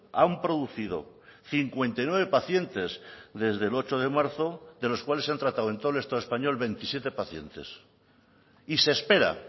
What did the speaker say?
han producido cincuenta y nueve pacientes desde el ocho de marzo de los cuales se han tratado en todo el estado español veintisiete pacientes y se espera